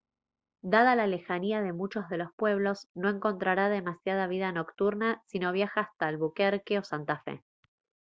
dada la lejanía de muchos de los pueblos no encontrará demasiada vida nocturna si no viaja hasta albuquerque o santa fe